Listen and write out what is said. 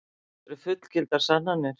Þetta eru fullgildar sannanir.